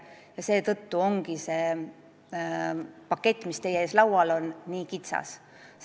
Ja seetõttu ongi see pakett, mis teie ees laual on, nii kitsas.